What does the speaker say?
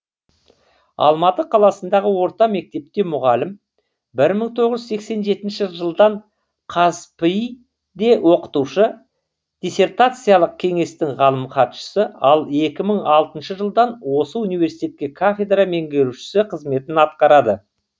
алматы қаласындағы орта мектепте мұғалім бір мың тоғыз жүз сексен жетінші жылдан қазпи де оқытушы диссертациялық кеңестің ғалым хатшысы ал екі мың алтыншы жылдан осы университте кафедра меңгерушісі қызметін атқарады